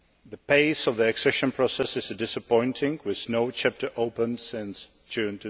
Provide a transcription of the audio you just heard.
the pace of the accession process is disappointing, with no chapter opened since June